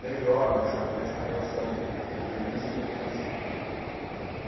melhor nessa nessa relação de polícia e população.